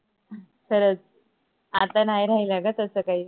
खरच आता नाही राहिल ग तस काही